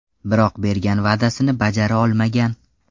Biroq bergan va’dasini bajara olmagan.